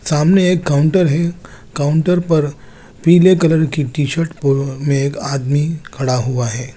सामने एक काउंटर है काउंटर पर पिले कलर की टी शर्ट पहन कर एक आदमी खड़ा हुआ है।